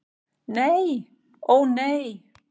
Nei, ó nei.